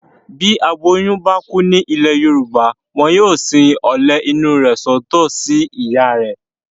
Bí aboyún bá kú nílẹ̀ Yorùbá. Wọn yóò sin ọ̀lẹ̀ inú rẹ̀ sọ́tọ̀ sí ìyá rẹ̀.